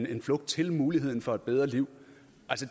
er en flugt til muligheden for et bedre liv